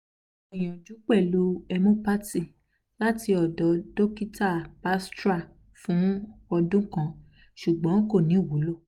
mo gbinyanju pelu homeopathy lati odo dokita batra's fun odun kan sugbon ko ni wulo